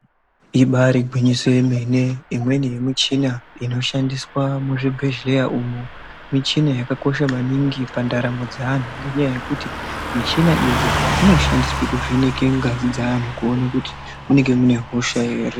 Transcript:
Ibari gwinyiso remene imwenei ye michina inoshandiswe muzvibhehleya umu michina yakakosha maningi pandaramo dzeanhu ngenyaya yekuti michina idzi dzinoshandiswe kuvheneke ngazi dzeantu kuone kuti munenge mune hosha ere.